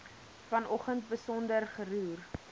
vanoggend besonder geroer